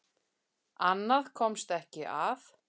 Annað komst ekki að!